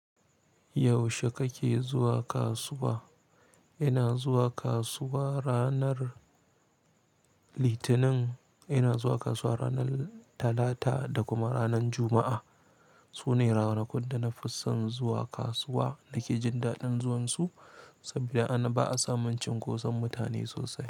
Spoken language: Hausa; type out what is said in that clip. Yaushe kake zuwa kasuwa? Ina zuwa kasuwa ranar Litinin, ina zuwa kasuwa ranar Talata da kuma ranar Juma'a. Su ne ranakun da na fi son zuwa kasuwa nake jin daɗin zuwansu saboda anan ba a samun cinkoson mutane sosai.